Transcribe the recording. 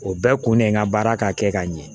O bɛɛ kun ne ka baara ka kɛ ka ɲɛ